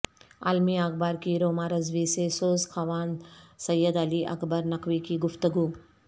عالمی اخبار کی روما رضوی سے سوز خوان سید علی اکبر نقوی کی گفتگو